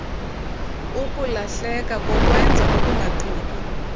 ukulahleka kokwenza okungaqhutywa